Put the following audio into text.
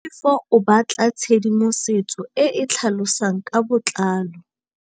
Tlhalefô o batla tshedimosetsô e e tlhalosang ka botlalô.